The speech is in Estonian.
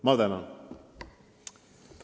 Ma tänan!